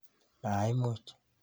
Maimuch